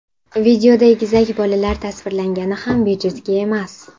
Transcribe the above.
Videoda egizak bolalar tasvirlangani ham bejizga emas.